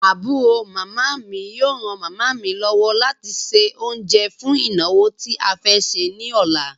Àbúrò màmá mi yóò ran màmá mi lọ́wọ́ láti se oúnjẹ́ fún ìnàwó tí a fẹ́ ṣe ní ọ̀la.